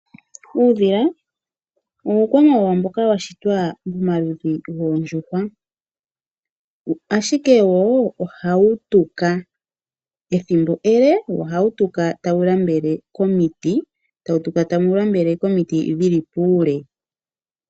Uudhila uukwamawawa mboka washitwa molupe goondjushwa ashike wo ohautuka ethimbo ele tautuka komiti dhili puule